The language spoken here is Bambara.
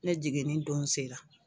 Ne jiginin don se la.